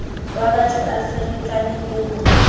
wabatho a ferekana le ho